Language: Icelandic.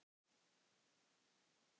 Nína Björk.